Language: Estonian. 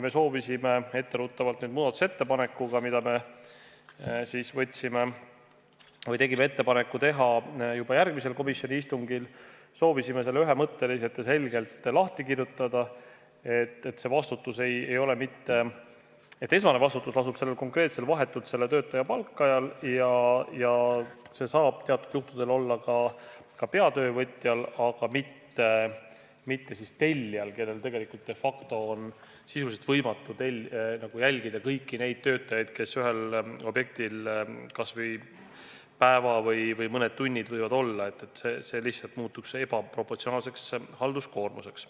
Me soovisime – etteruttavalt nüüd, muudatusettepanekuga, mille kohta me tegime ettepaneku, et seda teha juba järgmisel komisjoni istungil – selle ühemõtteliselt ja selgelt lahti kirjutada, et esmane vastutus lasub sel juhul konkreetselt vahetult selle töötaja palkajal ja see saab teatud juhtudel olla ka peatöövõtja, aga mitte tellija, kellel tegelikult de facto on sisuliselt võimatu jälgida kõiki töötajaid, kes ühel võivad olla objektil kas või ainult päeva, mõned tunnid, sest see muutuks ebaproportsionaalseks halduskoormuseks.